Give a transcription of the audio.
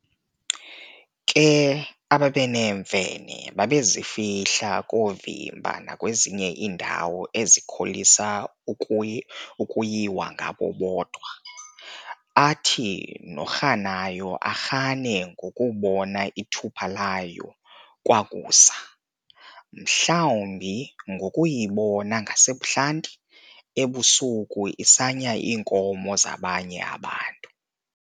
Ke ababeneemfene babezifihla koovimba nakwezinye iindawo ezikholisa ukuyiwa ngabo bodwa, athi norhanayo arhane ngokubona ithupha layo kwakusa, mhlawumbi ngokuyibona ngasebuhlanti, ebusuku, isanya iinkomo zabanye abantu.